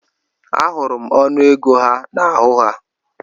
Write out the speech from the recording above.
Ahụrụ ọnụego ha n'ahụ ha.